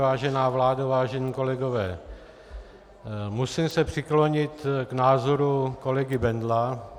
Vážená vládo, vážení kolegové, musím se přiklonit k názoru kolegy Bendla.